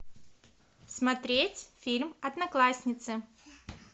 смотреть фильм одноклассницы